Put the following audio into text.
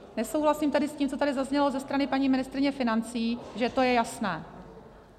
Nesouhlasím tedy s tím, co tady zaznělo ze strany paní ministryně financí, že to je jasné.